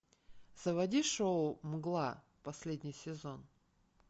заводи шоу мгла последний сезон